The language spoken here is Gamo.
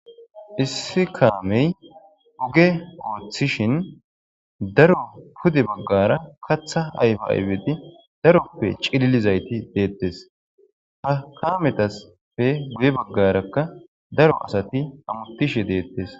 Issi kame ogge oththishen daro heeni bagara kaththa ayife daroppe c'ililizza danes ha kametas guye bagarakka daro asati oththishshe de'etes.